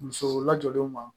Musow lajɔlenw ma